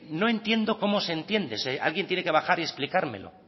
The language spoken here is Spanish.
no entiendo cómo se entiende alguien tiene que bajar y explicármelo